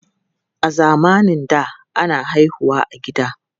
A zamanin da, ana haihu wa a gida.